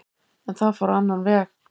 En það fór á annan veg